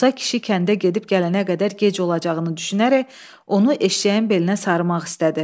Musa kişi kəndə gedib gələnə qədər gec olacağını düşünərək onu eşşəyin belinə sarımaq istədi.